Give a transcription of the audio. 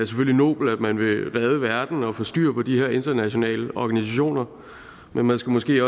nobelt at man vil redde verden og få styr på de her internationale organisationer men man skal måske